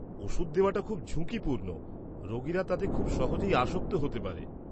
-ওষুধ দেওয়াটা খুব ঝুঁকিপূর্ণ, রোগীরা তাতে খুব সহজেই আসক্ত হতে পারে।